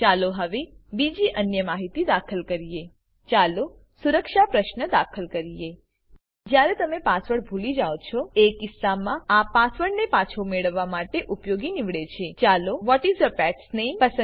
ચાલો હવે બીજી અન્ય માહિતી દાખલ કરીએ ચાલો સુરક્ષા પ્રશ્ન દાખલ કરીએ જયારે તમે પાસવર્ડ ભૂલી જાવ છો એ કિસ્સામાં આ પાસવર્ડને પાછો મેળવવા માટે ઉપયોગી નીવડે છે ચાલો વ્હાટ ઇસ યૂર પેટ્સ નામે